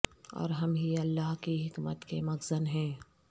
اور ہم ہی اللہ کی حکمت کے مخزن ہیں